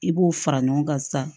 I b'o fara ɲɔgɔn kan sisan